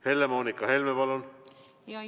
Helle-Moonika Helme, palun!